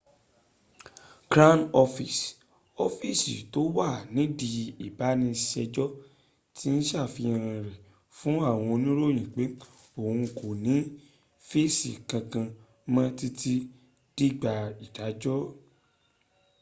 crown office ọ́fíísì tó wà nídìí ìbániṣẹjọ́ ti ṣàfihàn rẹ̀ fún àwọn oníròyìn pé òhun kò ní fèsì kankan mọ títí dìgbà ìdájọ́